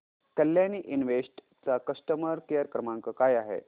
Kalyani invest चा customer care क्रमांक काय आहे